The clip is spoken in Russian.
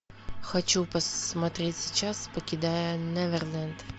хочу посмотреть сейчас покидая неверленд